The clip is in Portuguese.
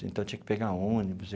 Então, eu tinha que pegar ônibus.